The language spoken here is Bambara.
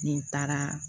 Ni n taara